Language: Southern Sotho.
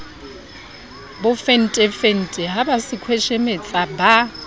bofentefente ha ba sekhweshemetsa ba